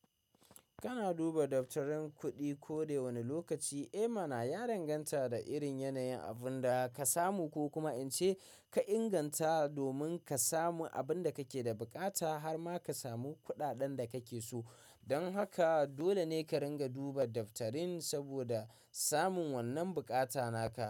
Kana duba daftarin kuɗi ko da wane lokaci, Eh mana ya danganta da irin yanayin abun da ka samu ko kuma in ce, ka inganta domin ka samu abin da kake da buƙata har ma ka samu kuɗaɗen da kake so. Don haka dole ne ka ringa duba daftarin, saboda samun wannan buƙata naka.